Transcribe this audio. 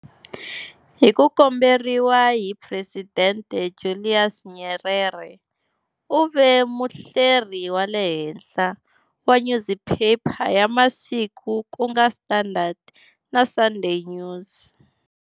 Hi ku komberiwa hi Presidente Julius Nyerere, u ve muhleri wa le henhla wa nyuziphepha ya masiku ku nga Standard, na Sunday News.